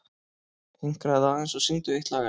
Hinkraðu aðeins og syngdu eitt lag enn.